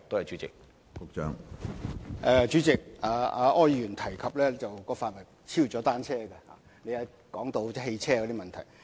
主席，柯議員提及的範圍已超出了單車政策，因他提及汽車問題。